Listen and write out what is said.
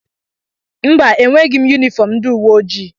mba, enweghị m yunifọm ndị uwe ojii